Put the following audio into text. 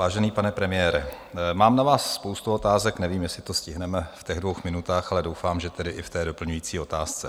Vážený pane premiére, mám na vás spoustu otázek, nevím, jestli to stihneme v těch dvou minutách, ale doufám, že tedy i v té doplňující otázce.